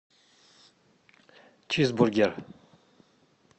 чизбургер